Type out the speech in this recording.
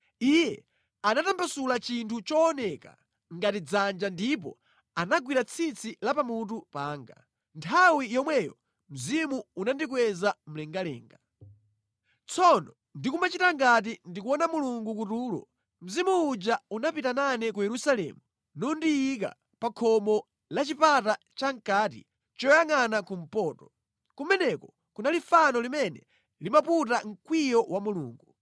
Iye anatambasula chinthu chooneka ngati dzanja ndipo anagwira tsitsi la pamutu panga. Nthawi yomweyo Mzimu unandikweza mlengalenga. Tsono ndikumachita ngati ndikuona Mulungu kutulo, Mzimu uja unapita nane ku Yerusalemu nundiyika pa khomo la chipata chamʼkati choyangʼana kumpoto. Kumeneko kunali fano limene limaputa mkwiyo wa Mulungu.